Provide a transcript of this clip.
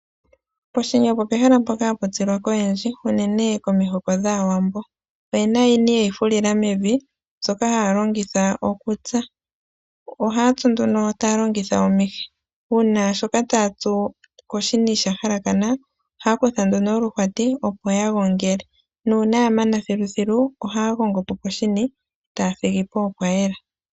Poshini opo pehala mpoka hapu tsilwa koyendji unene komihoko dhAawambo. Oyena iini ye yi fulila mevi mbyoka haya longitha okutsa. Ohaa tsu nduno taa longitha omihi. Uuna shoka taa tsu koshini sha halakana ohaa kutha nduno oluhwati, opo ya gongele . Nuuna ya mana thiluthilu oha gongo po poshini etaa thigi pa pwa yela.